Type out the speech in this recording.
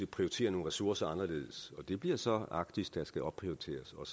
prioritere nogle ressourcer anderledes det bliver så arktis der skal opprioriteres og